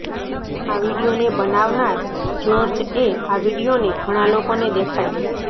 આ વિડીયોને બનાવનાર જ્યોર્જ એ આ વિડીયોને ઘણા લોકોને દેખાડ્યો